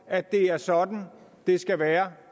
at det er sådan det skal være